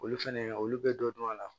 Olu fɛnɛ olu bɛ dɔ dɔn a la